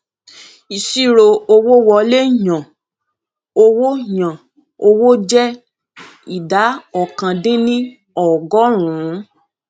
ìṣirò owó wọlé yàn owó yàn owó jẹ ìdá ọkàn dín ní ọgọrùnún